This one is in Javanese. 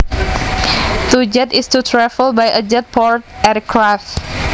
To jet is to travel by a jet powered aircraft